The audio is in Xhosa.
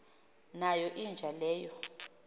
nayo inja leyo